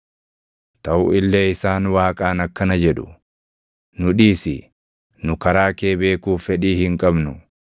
Taʼu illee isaan Waaqaan akkana jedhu; ‘Nu dhiisi! Nu karaa kee beekuuf fedhii hin qabnu.